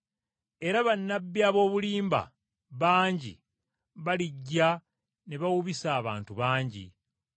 Era bannabbi ab’obulimba bangi balijja ne bawubisa abantu bangi.